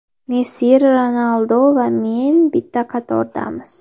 Messi, Ronaldu va men bitta qatordamiz.